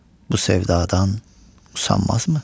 Bu sevdadan usanmazmı?